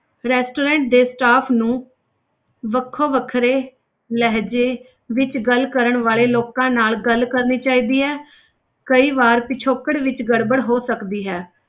Restaurant ਦੇ staff ਨੂੰ ਵੱਖੋ ਵੱਖਰੇ ਲਹਿਜੇ ਵਿੱਚ ਗੱਲ ਕਰਨ ਵਾਲੇ ਲੋਕਾਂ ਨਾਲ ਗੱਲ ਕਰਨੀ ਚਾਹੀਦੀ ਹੈ ਕਈ ਵਾਰ ਪਿਛੋਕੜ ਵਿੱਚ ਗੜਬੜ ਹੋ ਸਕਦੀ ਹੈ,